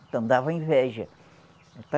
Então dava inveja.